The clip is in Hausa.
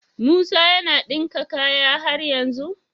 Musa yAna dinka kayan har yanzu?